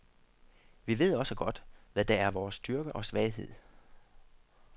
Vi ved også godt, hvad der er vores styrke og svaghed.